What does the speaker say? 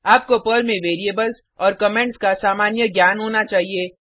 आपको पर्ल में वेरिएबल्स और कमेंट्स का सामान्य ज्ञान होना चाहिए